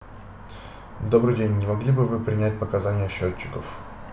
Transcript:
добрый день не могли бы вы принять показания счётчиков